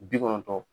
Bi kɔnɔntɔn